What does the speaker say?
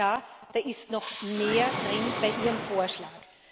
Herr Kommissar, da ist noch mehr drin bei Ihrem Vorschlag.